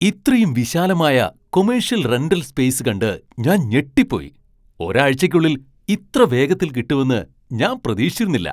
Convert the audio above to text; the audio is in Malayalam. ഇത്രയും വിശാലമായ കൊമ്മേഷ്യൽ റെന്റൽ സ്പേസ് കണ്ട് ഞാൻ ഞെട്ടിപ്പോയി. ഒരാഴ്ചയ്ക്കുള്ളിൽ ഇത്ര വേഗത്തിൽ കിട്ടുമെന്ന് ഞാൻ പ്രതീക്ഷിച്ചിരുന്നില്ല!